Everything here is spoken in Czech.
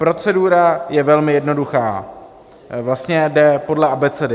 Procedura je velmi jednoduchá, vlastně jde podle abecedy.